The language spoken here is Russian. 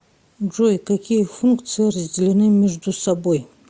джой какие функции разделены между собой